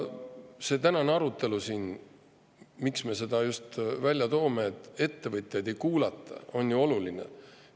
See tänane arutelu siin, miks me seda just välja toome, et ettevõtjaid ei kuulata, on ju oluline.